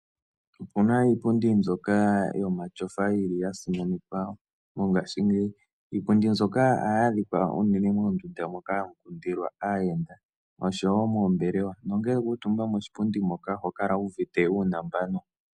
Opuna iipundi mbyoka yo matyofa yili ya simanekwa mongashingeyi, iipundi nzoka aaya dhikwa unene moondunda moka hamu kundilwa aayenda osho woo moombelewa. nongele wa kuutumba moshipundi moka oho kala wuuvite uunumba gwanu.